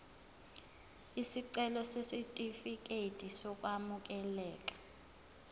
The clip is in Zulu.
isicelo sesitifikedi sokwamukeleka